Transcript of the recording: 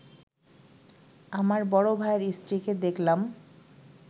আমার বড় ভাইয়ের স্ত্রীকে দেখলাম